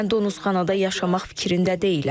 Mən donosxanada yaşamaq fikrində deyiləm.